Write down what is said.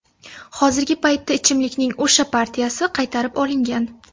Hozirgi paytda ichimlikning o‘sha partiyasi qaytarib olingan.